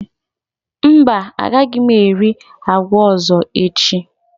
Mba, agaghị m eri agwa ọzọ echi.